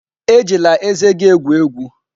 Ejila ezé gị egwu egwu!